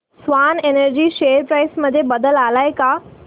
Swan energy share price मध्ये बदल आलाय का